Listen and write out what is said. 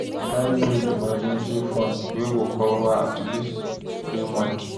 Try build emergency fund wey go cover at least three months